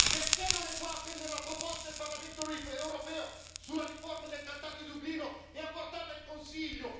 Perché non è qua a prendere la proposta del Parlamento europeo sulla riforma del trattato di Dublino e a portarla in Consiglio?